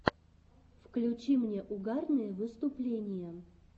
включи мне угарные выступления